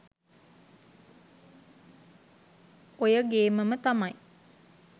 ඔය ගේමම තමයි